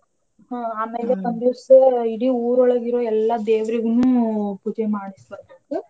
ಹಾ ಆಮೇಲೆ ಒಂದಿವ್ಸ ಇಡೀ ಊರೊಳಗಿರೋ ಎಲ್ಲಾ ದೇವ್ರೀಗ್ನೂ ಪೂಜೆ ಮಾಡ್ಸಬರ್ಬೇಕ್.